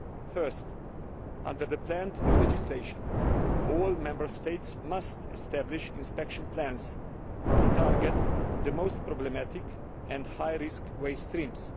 First, under the planned new legislation, all Member States must establish inspection plans to target the most problematic and high risk waste streams.